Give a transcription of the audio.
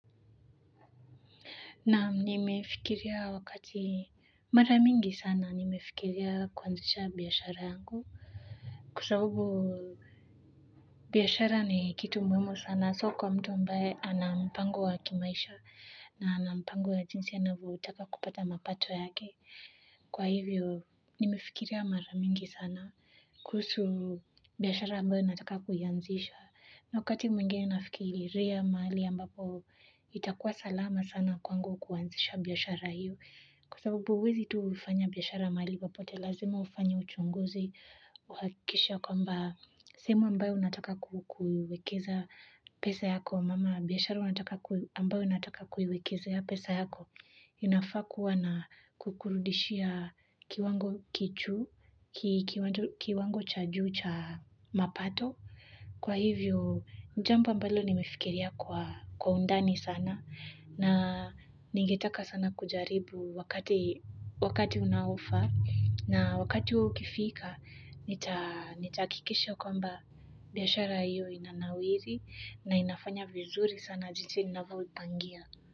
Na nimefikiria wakati mara mingi sana nimefikiria kuanzisha biashara yangu. Kwa sabubu biashara ni kitu muhimu sana sio kwa mtu ambaye anampango wa kimaisha na anampango wa jinsi anapo kutaka kupata mapato yake. Kwa hivyo nimefikiria mara mingi sana kuhusu biashara ambayo nataka kuianzisha. Na wakati mwingene nafikiria mahali ambapo itakuwa salama sana kwangu kuanzisha biashara hiyo. Kwa sababu huwezi tu kufanya biashara mahali popote lazima ufanye uchunguzi kuhakikisha kwamba sehemu ambayo unataka kuiwekeza pesa yako. Kama biashara ambayo unataka kuiwekezea pesa yako. Unafaa kuwa na kukurudishia kiwango kijuu, kiwango cha juu cha mapato. Kwa hivyo, jambo ambalo nimefikiria kwa undani sana na ningetaka sana kujaribu wakati unaofaa na wakati huu ukifika nita nitahakikisha kwamba biashara iyo inanawiri na inafanya vizuri sana jinsi ninavyo ipangia.